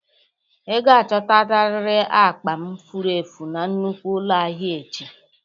Ị ga-achotarịrị akpa m furu efu na nnukwu ụlọ ahịa echi!